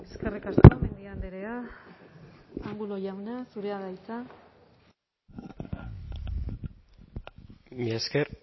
eskerrik asko mendia andrea angulo jauna zurea da hitza mila esker